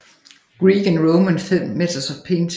Greek and Roman Methods of Painting